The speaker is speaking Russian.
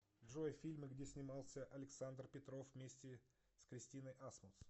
джой фильмы где снимался александр петров вместе с кристиной асмус